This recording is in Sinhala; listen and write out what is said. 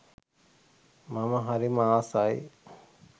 මම හරිම ආසයි.